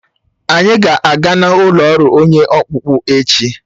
Anyị ga-aga n'ọlụ ọrụ onye ọkpụkpụ echi.